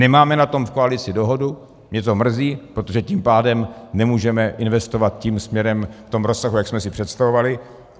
Nemáme o tom v koalici dohodu, mě to mrzí, protože tím pádem nemůžeme investovat tím směrem v tom rozsahu, jak jsme si představovali.